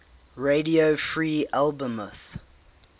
radio free albemuth